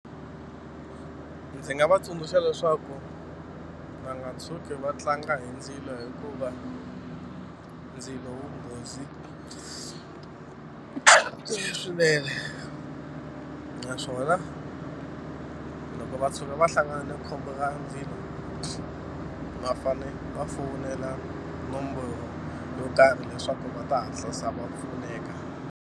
Ndzi nga va tsundzuxa leswaku va nga tshuki va tlanga hi ndzilo hikuva ndzilo wu nghozi swinene naswona loko va tshuka va hlangana na khombo ra ndzilo va fane va fowunela nomboro yo karhi leswaku va ta hatlisa va pfuneka.